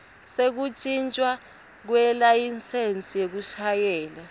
sekuntjintjwa kwelayisensi yekushayela